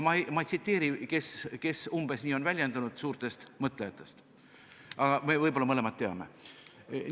Ma ei tsiteeri, kes suurtest mõtlejatest umbes nii on väljendunud, aga võib-olla me mõlemad teame seda.